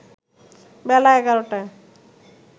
বেলা ১১টায়